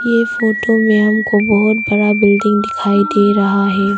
ये फ़ोटो में हमको बहुत बड़ा बिल्डिंग दिखाई दे रहा है।